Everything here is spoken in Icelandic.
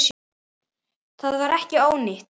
Það var ekki ónýtt.